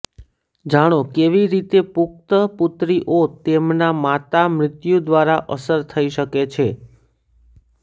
જાણો કેવી રીતે પુખ્ત પુત્રીઓ તેમના માતા મૃત્યુ દ્વારા અસર થઈ શકે છે